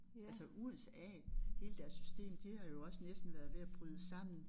Altså USA hele deres system de har jo også næsten været ved at bryde sammen